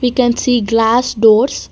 we can see glass doors.